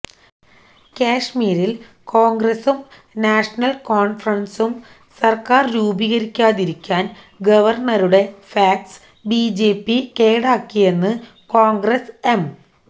കശ്മീരില് കോണ്ഗ്രസും നാഷണല് കോണ്ഫറന്സും സര്ക്കാര് രൂപീകരിക്കാതിരിക്കാന് ഗവര്ണറുടെ ഫാക്സ് ബിജെപി കേടാക്കിയെന്ന് കോണ്ഗ്രസ് എം